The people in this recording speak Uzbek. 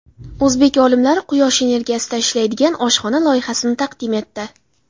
O‘zbek olimlari quyosh energiyasida ishlaydigan oshxona loyihasini taqdim etdi.